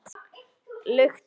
Lukt augu